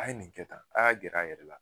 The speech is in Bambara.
A ye nin kɛ tan a y'a gɛrɛ a yɛrɛ la